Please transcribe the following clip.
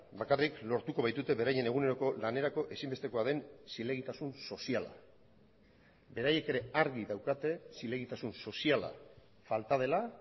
bakarrik lortuko baitute beraien eguneroko lanerako ezinbestekoa den zilegitasun soziala beraiek ere argi daukate zilegitasun soziala falta dela